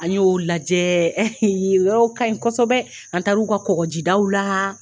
An y'o lajɛ, yen yɔrɔ kaɲi kosɛbɛ, an taar' u ka kɔgɔjidaw la.